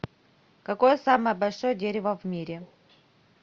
какое самое большое дерево в мире